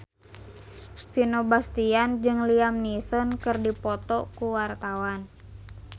Vino Bastian jeung Liam Neeson keur dipoto ku wartawan